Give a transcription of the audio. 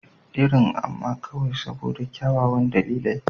Irin, amma kawai saboda kyawawan dalilai.